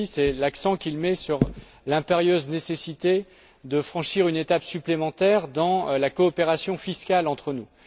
Monti, c'est l'accent qu'il met sur l'impérieuse nécessité de franchir une étape supplémentaire dans la coopération fiscale entre nous.